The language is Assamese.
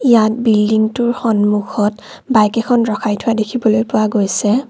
ইয়াত বিল্ডিংটোৰ সম্মুখত বাইক এখন ৰখাই থোৱা দেখিবলৈ পোৱা গৈছে।